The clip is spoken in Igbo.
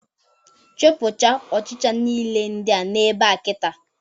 Chụpụcha ọchịcha nile ndịa nọ ebea kịta!